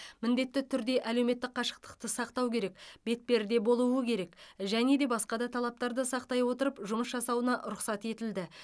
міндетті түрде әлеуметтік қашықтықты сақтау керек бетперде болуы керек және де басқа да талаптарды сақтай отырып жұмыс жасауына рұқсат етілді